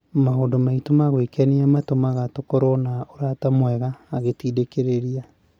“Maũndũ maitũ ma gwĩkenia matũmaga tũkorwo na ũrata mwega,” agĩtindĩkĩrĩria